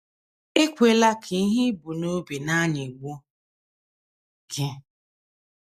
Ekwela ka ihe i bu n’obi na - anyịgbu gị.